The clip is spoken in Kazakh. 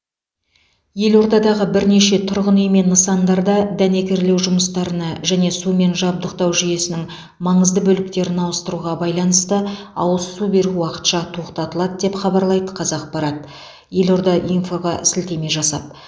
елордадағы бірнеше тұрғын үй мен нысандарда дәнекерлеу жұмыстарына және сумен жабдықтау жүйесінің маңызды бөліктерін ауыстыруға байланысты ауыз су беру уақытша тоқтатылады деп хабарлайды қазақпарат елорда инфоға сілтеме жасап